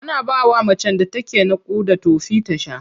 Ana bawa macen da take naƙuda tofi ta sha.